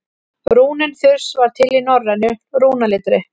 rúnin þurs var til í norrænu rúnaletri